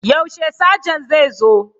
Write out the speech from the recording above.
Yaushe Sajan zai zo?